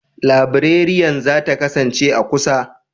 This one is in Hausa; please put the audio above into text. Librariyan za ta kasance a kusa?